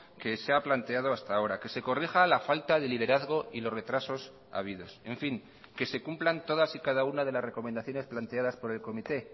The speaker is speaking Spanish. que se ha planteado hasta ahora que se corrija la falta de liderazgo y los retrasos habidos en fin que se cumplan todas y cada una de las recomendaciones planteadas por el comité